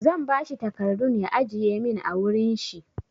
Zan ba shi takardu ya ajiye min a wurin shi.